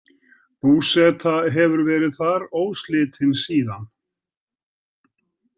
Búseta hefur verið þar óslitin síðan.